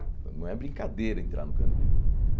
Não é brincadeira entrar no Carandiru.